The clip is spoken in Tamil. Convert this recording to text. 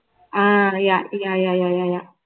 ah yeah yeah yeah yeah yeah yeah